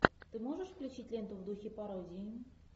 ты можешь включить ленту в духе пародии